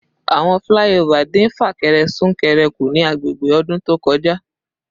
Awọn flyover din fakere sunkere ku ni agbegbe odun to koja